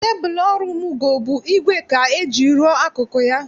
Tebụl ọrụ Mugo bụ ígwè ka eji rụọ akụkụ ya